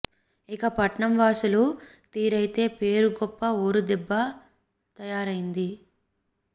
ఇక పట్నం వాసుల తీరైతే పేరు గొప్ప ఊరు దిబ్బలా తయారైంది